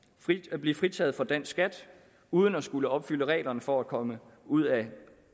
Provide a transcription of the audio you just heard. at blive fritaget for dansk skat uden at skulle opfylde reglerne for at komme ud af